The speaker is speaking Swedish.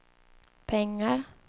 pengar